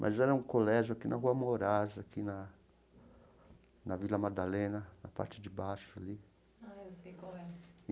Mas era um colégio aqui na Rua Morais, aqui na na Vila Madalena, na parte de baixo ali. Ah, eu sei qual é.